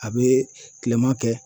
A bɛ tilema kɛ